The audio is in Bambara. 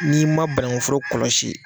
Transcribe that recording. N'i ma banankuforo kɔlɔsi.